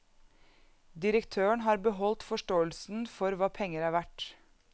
Direktøren har beholdt forståelsen for hva penger er verd.